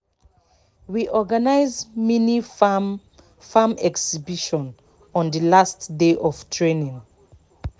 we organize mini farm farm exhibition on the last day of training